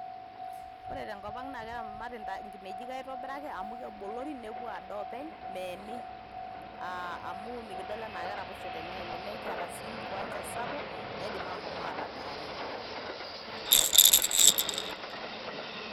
Ore tenkop ang' naa keramati enkinejik aitobiraki amu kebolori nepuo adaa oonpeny' meeni amu mikidol enaa keraposho teneeni, nikiata sii nkiwanja sapuk naidim ashomo atadaare.